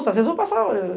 Às vezes eu vou passar.